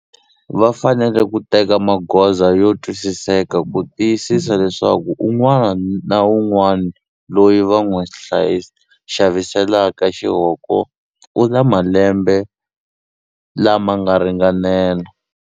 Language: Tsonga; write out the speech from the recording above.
Va fanele ku teka magoza yo twisiseka ku tiyisisa leswaku un'wani na un'wani loyi va n'wi xaviselaka xihoko u na malembe lama nga ringanela.